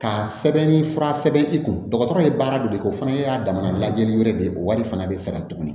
Ka sɛbɛnni fura sɛbɛn i kun dɔgɔtɔrɔ ye baara dɔ de ye o fana y'a damana lajɛli wɛrɛ de ye o wari fana bɛ sɛbɛn tuguni